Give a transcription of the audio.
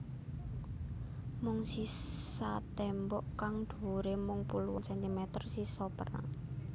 Mung sisa tembok kang dhuwure mung puluhan sentimeter sisa perang